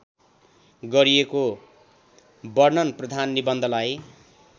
गरिएको वर्णनप्रधान निबन्धलाई